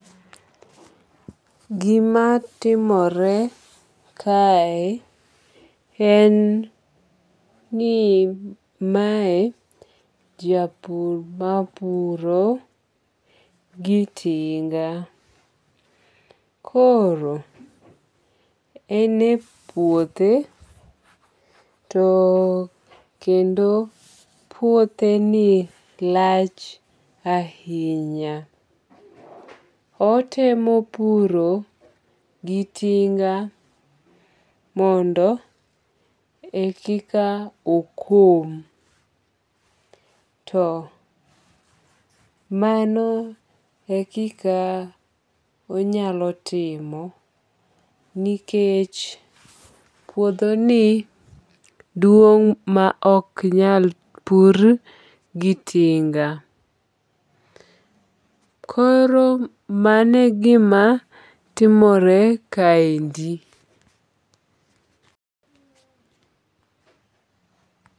Gima timore kae en ni mae japur mapuro gi tinga. Koro ene puothe to kendo puothe ni lach ahinya. Otemo puro gi tinga mondo e kika okom. To mano ekika onyalo timo nikech puodho ni duong' ma ok nyal pur gi tinga. Koro mano e gima timore kaendi.